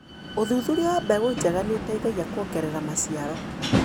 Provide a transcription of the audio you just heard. ũthuthuria wa mbegũ njega nĩũteithagia kuongerera maciaro.